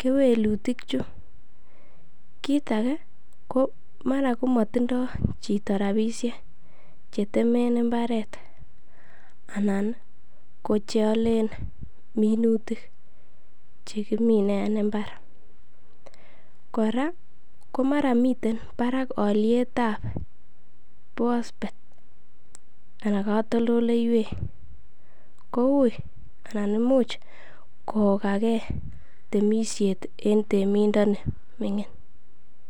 kewelutik chu. kit age ko mara komotindo chito rabishek che temen mbaret anan ko ch eolen minutik che kimine en mbar. Kora ko mara miten barak olyet ab bosbet anan katoltoleiywek ko uiy anan imuch kogake temisiet en timindoni ming'in.